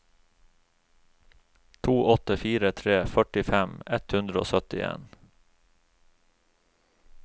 to åtte fire tre førtifem ett hundre og syttien